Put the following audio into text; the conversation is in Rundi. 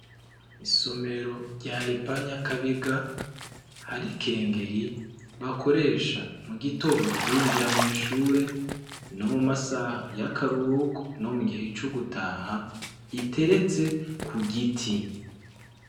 Isomero rya EPA NYAKABIGA , hari ikengeri bakoresha mu gitondo binjira mw'ishure, no mu masaha y'akaruhuko, no mu gihe c'ugutaha iteretse ku giti.